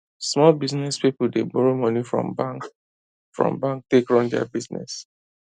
small business people dey borrow money from bank from bank take run their business